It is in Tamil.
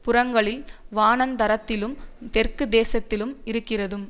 புறங்களில் வனாந்தரத்திலும் தெற்கு தேசத்திலும் இருக்கிறதும்